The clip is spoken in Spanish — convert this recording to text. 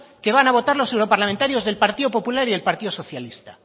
qué van a votar los europarlamentarios del partido popular y del partido socialista